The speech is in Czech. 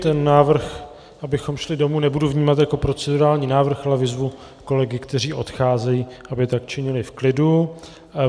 Ten návrh, abychom šli domů, nebudu vnímat jako procedurální návrh, ale vyzvu kolegy, kteří odcházejí, aby tak činili v klidu.